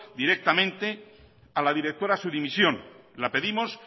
directamente a la directora su dimisión la pedimos